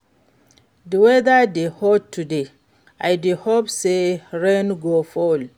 Di weather dey hot today, i dey hope say rain go fall.